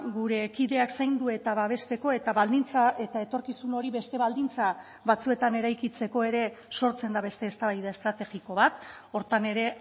gure kideak zaindu eta babesteko eta baldintza eta etorkizun hori beste baldintza batzuetan eraikitzeko ere sortzen da beste eztabaida estrategiko bat horretan ere